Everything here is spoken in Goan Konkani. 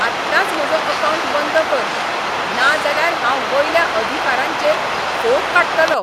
आत्ताच म्हजो अकावंट बंद कर, नाजाल्यार हांव वयल्या अधिकारांचेर फोग काडटलों.